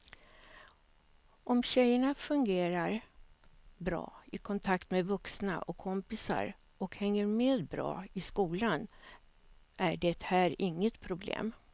Om tjejerna fungerar bra i kontakt med vuxna och kompisar och hänger med bra i skolan är det här inget problem.